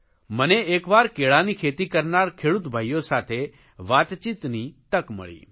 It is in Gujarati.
મને એકવાર કેળાની ખેતી કરનાર ખેડૂત ભાઇઓ સાથે વાતચીતની તક મળી